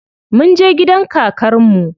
Munje gidan kakar mu.